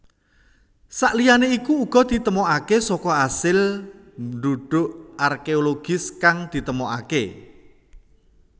Saliyane iku uga ditemokake saka asil ndhudhuk arkeologis kang ditemokake